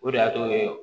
O de y'a to